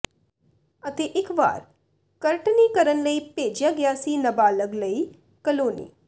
ਅਤੇ ਇਕ ਵਾਰ ਕਰਟਨੀ ਕਰਨ ਲਈ ਭੇਜਿਆ ਗਿਆ ਸੀ ਨਾਬਾਲਗ ਲਈ ਕਾਲੋਨੀ